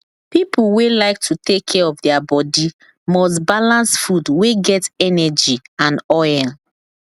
people wey like to take care of their body must balance food wey get energy and oil